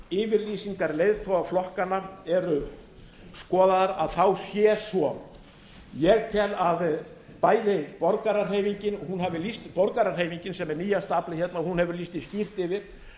ef yfirlýsingar leiðtoga flokkanna eru skoðaðar þá sé svo ég tel að bæði borgarahreyfingin sem er nýja aflið hérna hefur lýst því skýrt yfir